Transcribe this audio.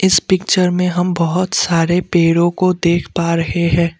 इस पिक्चर में हम बहोत सारे पेड़ों को देख पा रहे हैं।